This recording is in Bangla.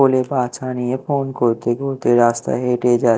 নিয়ে ফোন করতে করতে রাস্তায় হেঁটে যায়।